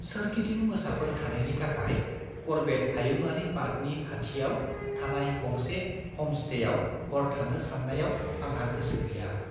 सोरगिदिं मोसाफोर थानायनि थाखाय कर्बेट हायुंआरि पार्कनि खाथियाव थानाय गंसे ह'मस्टेयाव हर थानो साननायाव आंहा गोसो गैया।